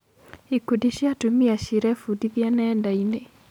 Ikundi cia atumia cirebundithia nenda-inĩ.